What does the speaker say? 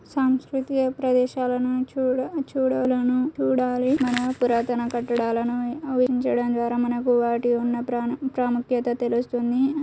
సంస్కృతియే ప్రదేశాలను చూడ-చూడాలని చూడాలి మన పురాతన కట్టడాలని వాటి వున్న ప్రాణ- ప్రాముక్యత తెలుస్తుంది.